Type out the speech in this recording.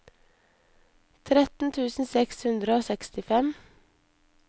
tretten tusen seks hundre og sekstifem